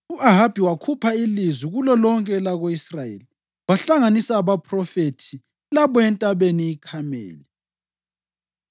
U-Ahabi wakhupha ilizwi kulolonke elako-Israyeli wahlanganisa abaphrofethi labo eNtabeni iKhameli.